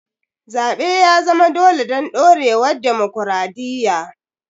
Zaɓe ya zama dole don ɗorewar dimokuradiyya.